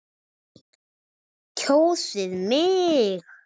Kjósið mig!